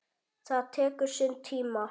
Það tekur sinn tíma.